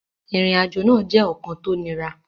Ìrìnàjò náà jẹ́ ọ̀kan tó niran